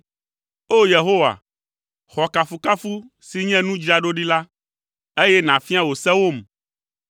O! Yehowa, xɔ kafukafu si nye nu dzra ɖo ɖi la, eye nàfia wò sewom.